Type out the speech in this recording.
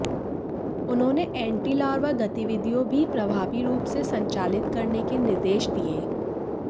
उन्होंने anti larva गतिविधियां भी प्रभावी रूप से संचालित करने के निर्देश दिये